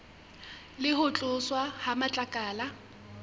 le ho tloswa ha matlakala